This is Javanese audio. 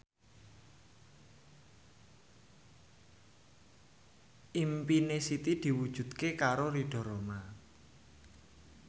impine Siti diwujudke karo Ridho Roma